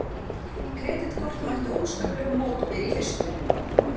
Kreditkort mættu óskaplegum mótbyr í fyrstu